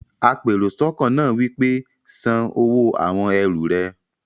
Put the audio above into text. apèròsọ́kọ́ náà wí pé, "san owó àwon ẹrù rẹ!